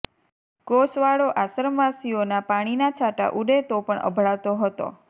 કોસવાળો આશ્રમવાસીઓના પાણીના છાંટા ઊડે તો પણ અભડાતો હતો